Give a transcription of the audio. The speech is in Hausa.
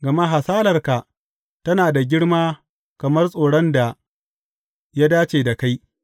Gama hasalarka tana da girma kamar tsoron da ya dace da kai.